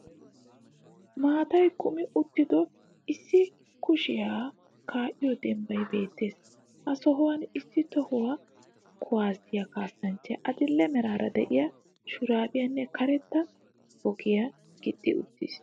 Maataay kuumi uttido issi kuuwassiya ka'iyoo dembbay beettees. Ha sohuwan issi toho kuuwassiya kaassanchchay adidlhdhee meraara de'iya shurabbiyannee kaaretta boggiya gixxi uttis.